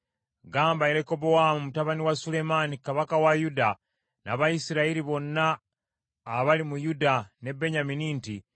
“Gamba Lekobowaamu mutabani wa Sulemaani kabaka wa Yuda, n’Abayisirayiri bonna abali mu Yuda ne Benyamini nti,